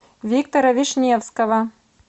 виктора вишневского